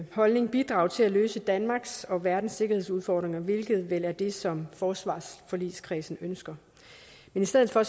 holdning bidrage til at løse danmarks og verdens sikkerhedsudfordringer hvilket vel er det som forsvarsforligskredsen ønsker i stedet for